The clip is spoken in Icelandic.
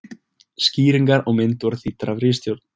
Skýringar á mynd voru þýddar af ritstjórn.